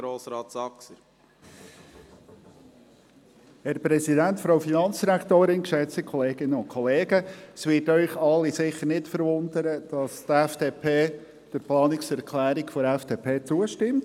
Es wird Sie alle sicher nicht verwundern, dass die FDP der Planungserklärung der FDP zustimmt.